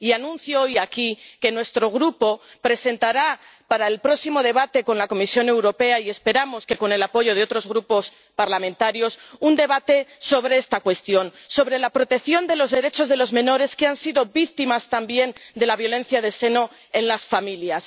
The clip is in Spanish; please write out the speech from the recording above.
Anuncio hoy aquí que nuestro Grupo presentará para el próximo debate con la Comisión Europea —y esperamos que con el apoyo de otros grupos parlamentarios— un debate sobre esta cuestión, sobre la protección de los derechos de los menores que han sido víctimas también de la violencia de género en las familias.